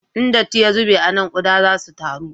In datti ya zube a nan, kuɗa za su taru